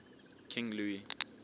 king louis